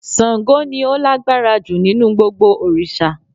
Sango ni o lágbára ju nínú gbogbo òrìsà